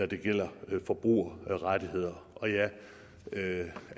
det gælder forbrugerrettigheder og jeg